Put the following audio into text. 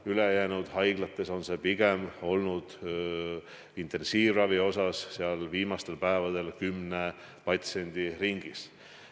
– ülejäänud haiglates on intensiivravi vajajate hulk olnud viimastel päevadel kümne patsiendi ringis.